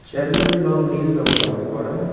Chair -গুলির রং নীল রঙে রং করা।